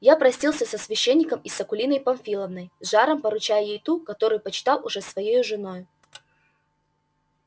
я простился с священником и с акулиной памфиловной с жаром поручая ей ту которую почитал уже своею женою